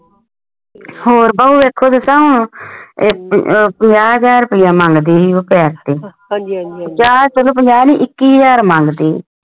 ਹੋਰ ਭਾਉ ਪੰਜਾਹ ਹਜ਼ਾਰ ਰੁਪਈਆ ਮੰਗਦੀ ਸੀ ਉਹ ਪੰਜਾਹ ਨਹੀਂ ਇੱਕੀ ਹਾਜ਼ਰ ਮੰਗਦੀ ਸੀ